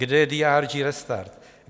Kde je DRG Restart?